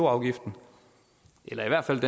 afgiften eller i hvert fald